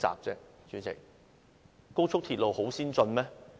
代理主席，高速鐵路很先進嗎？